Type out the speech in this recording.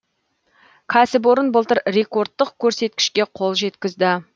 кәсіпорын былтыр рекордтық көрсеткішке қол жеткізді